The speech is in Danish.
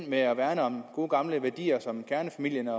med at værne om gode gamle værdier som kernefamilien